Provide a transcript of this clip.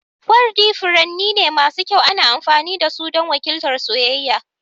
Wardi furanni ne masu kyau, ana amfani da su don wakiltar soyayya.